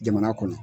Jamana kɔnɔ